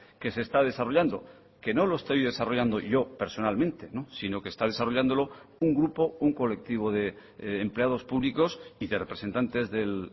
que se está desarrollando que no lo estoy desarrollando yo personalmente sino que está desarrollándolo un grupo un colectivo de empleados públicos y de representantes del